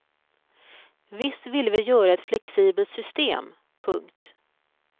Visst ville vi göra ett flexibelt system. punkt